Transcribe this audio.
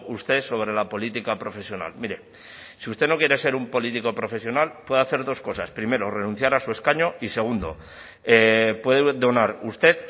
usted sobre la política profesional mire si usted no quiere ser un político profesional puede hacer dos cosas primero renunciar a su escaño y segundo puede donar usted